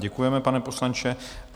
Děkujeme, pane poslanče.